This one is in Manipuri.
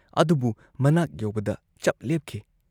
ꯑꯗꯨꯕꯨ ꯃꯅꯥꯛ ꯌꯧꯕꯗ ꯆꯞ ꯂꯦꯞꯈꯤ ꯫